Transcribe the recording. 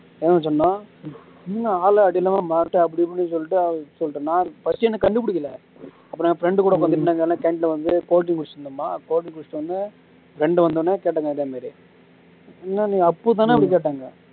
என்ன ஆளு அடையாளமே மாறிட்ட அப்படி இப்படின்னு சொல்லிட்டு சொல்லிட்டேனா first என்ன கண்டுபுடிக்கல அப்போ நான் என் friend கூட உக்காந்துட்டு நாங்க எல்லாம் canteen ல வந்து coffee குடிச்சிட்டு இருந்தோமா coffee குடிச்சவுடனேயே friend வந்தவுடனேயே கேட்டாங்க இதே மாதிரி என்ன நீ அப்பு தானே அப்படி கேட்டாங்க